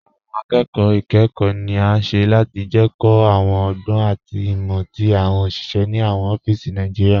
Awọn akókò ikẹ́kọ̀ ni a ṣẹ́ láti jẹ́kí awọn ọ̀gbọn àti imọ̀ tí awọn oṣiṣẹ̀ ni awọn ọfísí Naijiria